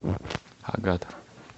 агат